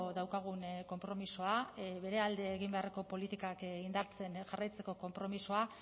daukagun konpromisoa bere alde egin beharreko politikak indartzen jarraitzeko konpromisoa